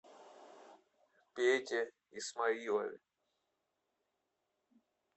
пете исмаилове